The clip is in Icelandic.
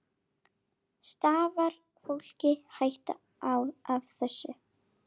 Stafar fólki hætta af þessu?